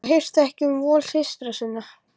Og hirti ekki um vol systra sinna.